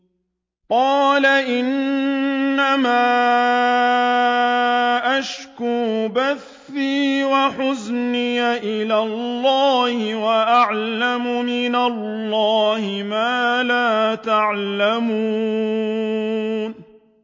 قَالَ إِنَّمَا أَشْكُو بَثِّي وَحُزْنِي إِلَى اللَّهِ وَأَعْلَمُ مِنَ اللَّهِ مَا لَا تَعْلَمُونَ